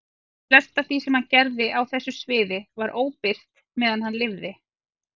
Flest af því sem hann gerði á þessu sviði var óbirt meðan hann lifði.